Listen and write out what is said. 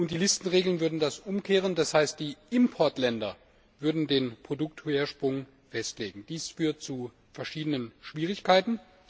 Die Listenregelungen würden das umkehren, das heißt, die Importländer würden den Produktursprung festlegen. Dies führt zu verschiedenen Schwierigkeiten.